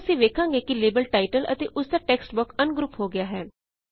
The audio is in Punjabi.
ਹੁਣ ਅਸੀਂ ਵੇਖਾਂਗੇ ਕਿ ਲੇਬਲ ਟਾਇਟਲ ਅਤੇ ਓਸਦਾ ਟੇਕਸਟ ਬੌਕਸ ਅਨਗ੍ਰੁਪ ਹੋ ਗਿਆ ਹੈ